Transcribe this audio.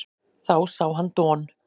Þá sá hann Don